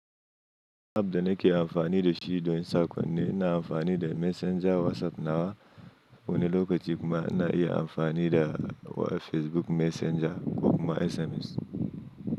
App da nake amfani da shi don in sakon ne, ina amfani da Messenger WhatsApp nawa wani lokaci kuma ina iya amfani da Facebook Messenger ko kuma SMS.